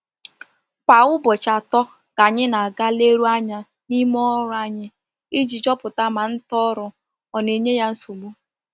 Kwa Ụbọchị atọ ka anyị na aga leeruo anya na ime ọrụ anyị, iji chọpụta ma nta oru ona e nye ya usogbu